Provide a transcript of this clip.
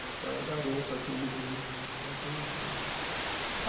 Essa é a garota que ele veio a conhecer